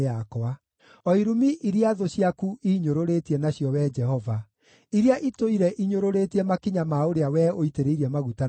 o irumi iria thũ ciaku iinyũrũrĩtie nacio, Wee Jehova, iria itũire inyũrũrĩtie makinya ma ũrĩa wee ũitĩrĩirie maguta nacio.